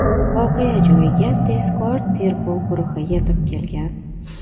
Voqea joyiga tezkor tergov guruhi yetib kelgan.